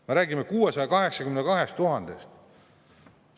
Me räägime 682 000.